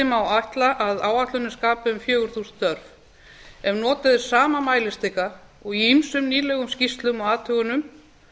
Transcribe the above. má ætla að áætlunin skapi um fjögur þúsund störf ef notuð er sama mælistika og í ýmsum nýlegum skýrslum og athugunum